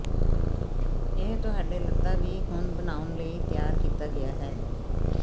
ਇਹ ਤੁਹਾਡੇ ਲਤ੍ਤਾ ਵੀ ਹੁਣ ਬਣਾਉਣ ਲਈ ਤਿਆਰ ਕੀਤਾ ਗਿਆ ਹੈ